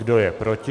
Kdo je proti?